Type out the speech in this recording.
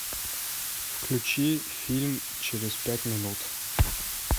включи фильм через пять минут